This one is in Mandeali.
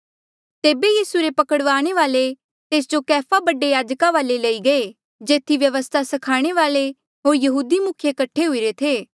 तेबे यीसू रे पकड़ने वाल्ऐ तेस जो कैफा बडे याजका वाले लई गये जेथी व्यवस्था स्खाणे वाल्ऐ होर यहूदी मुखिये कठे हुईरे थे